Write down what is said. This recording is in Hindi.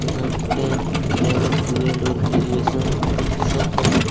यहां टेन इलेवन ट्वेल्व और ग्रेजुएशन कंपटीशन का बुक --